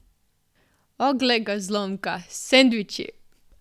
O, glej ga zlomka, sendviči!